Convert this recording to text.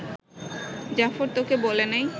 জাফর তোকে বলে নাই